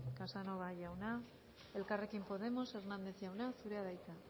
casanova jauna elkarrekin podemos hernández jauna zurea da hitza